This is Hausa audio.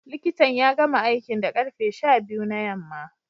Likitan ya gama aikin da karfe sha biyu na yamma